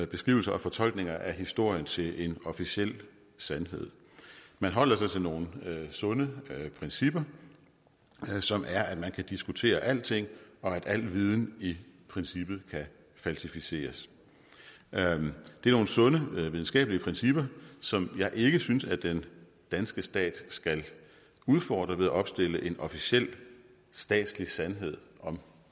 beskrivelser og fortolkninger af historien til en officiel sandhed man holder sig til nogle sunde principper som er at man kan diskutere alting og at al viden i princippet kan falsificeres det er nogle sunde videnskabelige principper som jeg ikke synes at den danske stat skal udfordre ved at opstille en officiel statslig sandhed om